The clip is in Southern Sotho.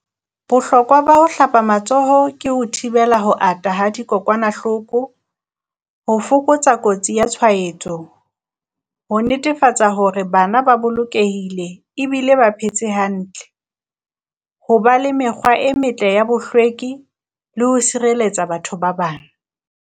Bohlokwa ba ho hlapa matsoho ke ho thibela ho ata ha dikokwanahloko, ho fokotsa kotsi ya tshwahetso, ho netefatsa hore bana ba bolokehile ebile ba phetse hantle. Ho ba le mekgwa e metle ya bohlweki le ho sireletsa batho ba bang.